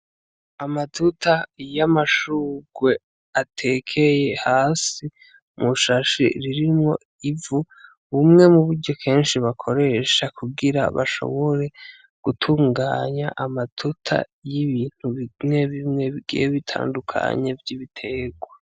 Amaduta iyo amashurwe atekeye hasi mushashi ririmwo ivu bumwe mu buryo kenshi bakoresha kugira bashobore gutunganya amaduta y'ibintu bimwe bimwe byebitandukanye vy'ibiterwa.